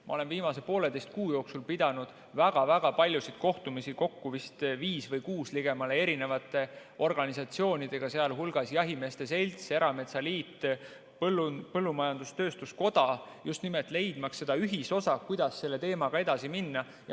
Ma olen viimase poolteise kuu jooksul pidanud väga-väga palju kohtumisi, kokku vist viis või kuus, erinevate organisatsioonidega, sh jahimeeste selts, erametsaliit, põllumajandus-tööstuskoda, just nimelt leidmaks seda ühisosa, kuidas selle teemaga edasi minna.